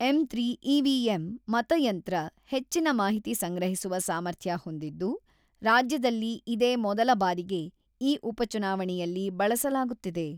"M three EVM 'ಮತಯಂತ್ರ ಹೆಚ್ಚಿನ ಮಾಹಿತಿ ಸಂಗ್ರಹಿಸುವ ಸಾಮರ್ಥ್ಯ ಹೊಂದಿದ್ದು, ರಾಜ್ಯದಲ್ಲಿ ಇದೇ ಮೊದಲ ಬಾರಿಗೆ ಈ ಉಪಚುನಾವಣೆಯಲ್ಲಿ ಬಳಸಲಾಗುತ್ತಿದೆ.